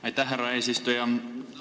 Aitäh, härra eesistuja!